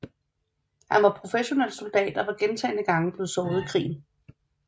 Han var professionel soldat og var gentagne gange blevet såret i krigen